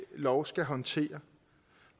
lov skal håndtere